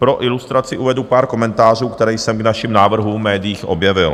Pro ilustraci uvedu pár komentářů, které jsem k našim návrhům v médiích objevil.